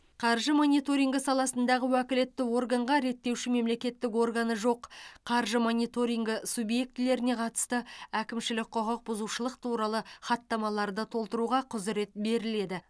қаржы мониторингі саласындағы уәкілетті органға реттеуші мемлекеттік органы жоқ қаржы мониторингі субъектілеріне қатысты әкімшілік құқық бұзушылық туралы хаттамаларды толтыруға құзырет беріледі